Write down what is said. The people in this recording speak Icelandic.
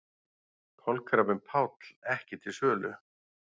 Kolkrabbinn Páll ekki til sölu